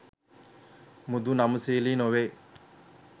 මෘදු නම්‍යශීලි නොවේ.